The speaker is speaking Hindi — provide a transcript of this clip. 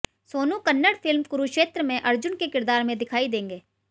सोनू कन्नड़ फिल्म कुरुक्षेत्र में अर्जुन के किरदार में दिखाई देंगे